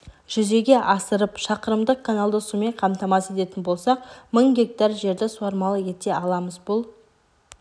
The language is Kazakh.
жүзеге асырып шақырымдық каналды сумен қамтамасыз ететін болсақ мың гектар жерді суармалы ете аламыз бұл